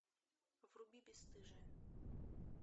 вруби бесстыжие